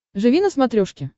живи на смотрешке